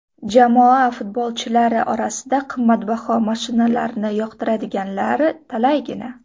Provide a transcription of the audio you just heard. Jamoa futbolchilari orasida qimmatbaho mashinalarni yoqtiradiganlari talaygina.